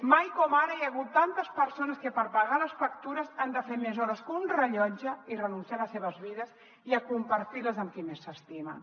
mai com ara hi ha hagut tantes persones que per pagar les factures han de fer més hores que un rellotge i renunciar a les seves vides i a compartir les amb qui més s’estimen